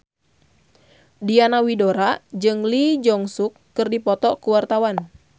Diana Widoera jeung Lee Jeong Suk keur dipoto ku wartawan